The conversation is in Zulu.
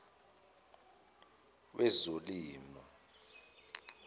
wezolimo